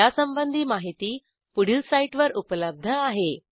यासंबंधी माहिती पुढील साईटवर उपलब्ध आहे